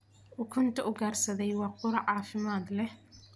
Ukunta ugaarsaday waa quraac caafimaad leh.